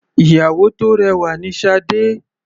Ìyàwó tó rẹwà ni Sade.